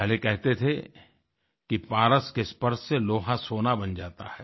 पहले कहते थे कि पारस के स्पर्श से लोहा सोना बन जाता है